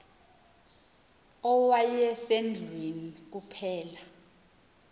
owaye sendlwini kuphela